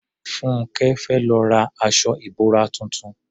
Fúnńkẹ́ fẹ́ lọ ra aṣọ ìbora tuntun